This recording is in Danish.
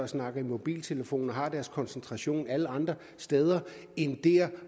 snakker i mobiltelefon og har deres koncentration alle andre steder end dér